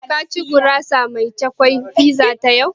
Ka ci gurasa mai cukwi (pizza) fiza yau?